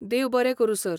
देव बरें करूं सर.